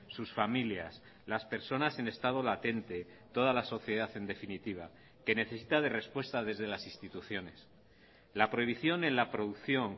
sus familias las personas en estado latente toda la sociedad en definitiva que necesita de respuesta desde las instituciones la prohibición en la producción